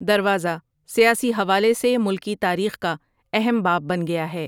دروازہ سیاسی حوالے سے ملکی تاریخ کا اہم باب بن گیا ہے ۔